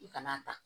I kana ta